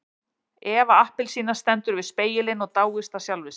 Eva appelsína stendur við spegilinn og dáist að sjálfri sér.